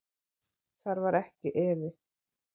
Þar var ekki efi.